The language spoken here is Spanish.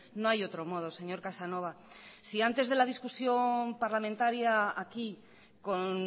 no hay otro modo señor casanova si antes de la discusión parlamentaria aquí con